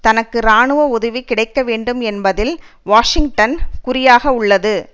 தனக்கு இராணுவ உதவி கிடைக்க வேண்டும் என்பதில் வாஷிங்டன் குறியாக உள்ளது